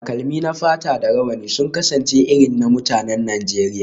Takalmi na fata da rawani sun kasance irin na mutanen arewacin Najeriya